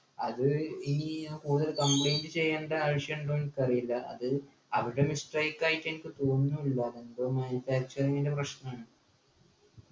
അത് ഇനി കൂടുതൽ complaint ചെയ്യണ്ട ആവശ്യണ്ടോ എനിക്കറീല അത് അവരുടെ mistake ആയിട്ടെനിക്ക് തോനുന്നു ഇല്ല എന്തോ manufacturing ൻ്റെ പ്രശ്‌നാണ്